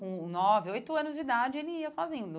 Com nove, oito anos de idade, ele ia sozinho.